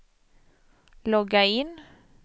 logga in